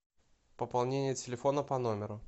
пополнение телефона по номеру